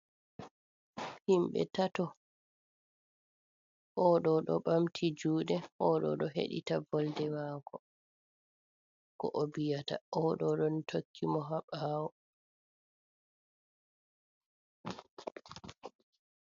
Himɓe tato, o ɗo ɗo ɓamti juuɗe, o ɗo ɗo heɗita volde maako, ko o viyata, o ɗo ɗon tokki mo haa ɓaawo.